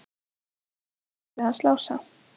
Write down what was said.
Þetta hlaut að vera leiðið hans Lása.